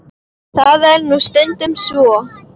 Það er nú stundum svo.